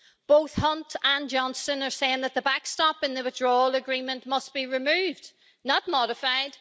Both Hunt and Johnson are saying that the backstop in the Withdrawal Agreement must be removed. Not modified!